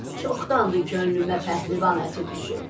Çoxdandır könlümə pəhlivan əti düşüb.